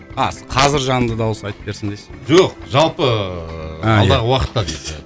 а қазір жанды дауыс айтып берсін дейсіз бе жоқ жалпы алдағы уақытта